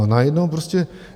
A najednou prostě...